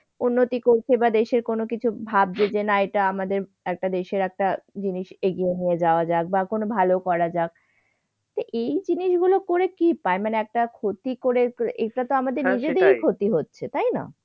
উন্নতি করছে বা দেশের কোন কিছু ভাবছে যে না এটা আমাদের একটা দেশের একটা জিনিস এগিয়ে নিয়ে যাওয়া যাক বা কোন ভালো করা যাক। তাই এই জিনিসগুলো করে কি পায়? মানে একটা ক্ষতি করে এটাতো আমাদের নিজেদেরই ক্ষতি হচ্ছে। তাই না?